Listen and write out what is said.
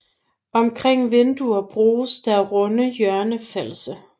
Omkring vinduer bruges der runde hjørnefalse